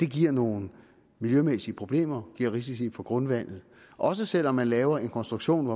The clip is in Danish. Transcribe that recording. giver nogle miljømæssige problemer giver risici for grundvandet også selv om man laver en konstruktion